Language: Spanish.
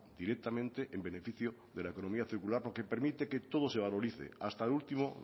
directamente en beneficio de la economía circular porque permite que todo se valorice hasta el último